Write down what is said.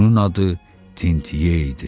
Onun adı Tintye idi.